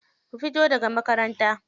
Ku fito daga makaranta.